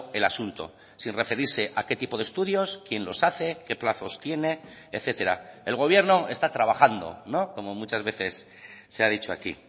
el asunto sin referirse a qué tipo de estudios quién los hace qué plazos tiene etcétera el gobierno está trabajando como muchas veces se ha dicho aquí